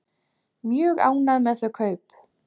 Mjög ánægð með þau kaup.